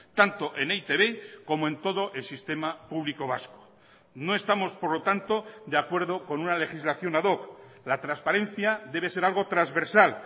tanto en e i te be como en todo el sistema público vasco no estamos por lo tanto de acuerdo con una legislación ad hoc la transparencia debe ser algo transversal